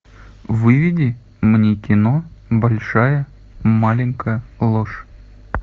выведи мне кино большая маленькая ложь